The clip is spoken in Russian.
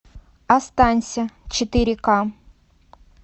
останься четыре ка